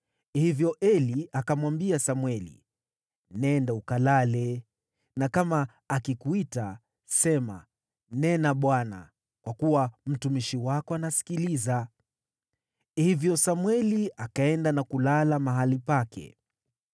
Hivyo Eli akamwambia Samweli, “Nenda ukalale, na kama akikuita, sema, ‘Nena Bwana , kwa kuwa mtumishi wako anasikiliza.’ ” Hivyo Samweli akaenda na kulala mahali pake.